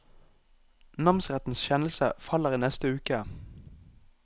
Namsrettens kjennelse faller i neste uke.